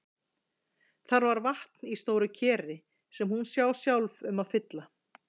Þar var vatn í stóru keri sem hún sá sjálf um að fylla.